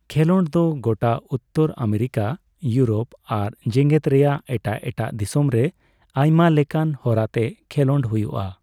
ᱠᱷᱮᱞᱚᱸᱰ ᱫᱚ ᱜᱚᱴᱟ ᱩᱛᱛᱚᱨ ᱟᱢᱮᱨᱤᱠᱟ, ᱤᱭᱩᱨᱳᱯ ᱟᱨ ᱡᱮᱜᱮᱫ ᱨᱮᱭᱟᱜ ᱮᱴᱟᱜ ᱮᱴᱟᱜ ᱫᱤᱥᱚᱢ ᱨᱮ ᱟᱭᱢᱟ ᱞᱮᱠᱟᱱ ᱦᱚᱨᱟᱛᱮ ᱠᱷᱮᱞᱳᱰ ᱦᱩᱭᱩᱜᱼᱟ ᱾